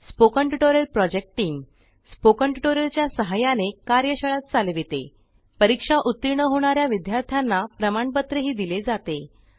spoken tutorial project टीमSpoken tutorial च्या सहाय्याने कार्यशाळा चालवितेपरीक्षा उतीर्ण होणा या विद्यार्थ्यांना प्रमाणपत्रही दिले जाते